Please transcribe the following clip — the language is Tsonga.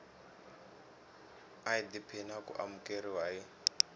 idp na ku amukeriwa hi